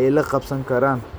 ay la qabsan karaan.